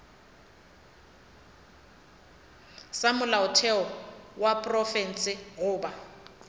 sa molaotheo wa profense goba